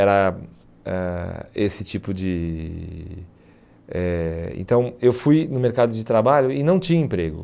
Era ãh esse tipo de eh... Então, eu fui no mercado de trabalho e não tinha emprego.